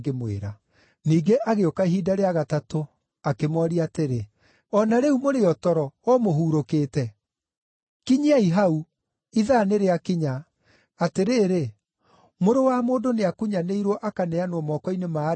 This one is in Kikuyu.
Ningĩ agĩũka ihinda rĩa gatatũ akĩmooria atĩrĩ, “O na rĩu mũrĩ o toro, o mũhurũkĩte? Kinyiai hau! Ithaa nĩrĩakinya. Atĩrĩrĩ, Mũrũ wa Mũndũ nĩakunyanĩirwo akaneanwo moko-inĩ ma andũ ehia.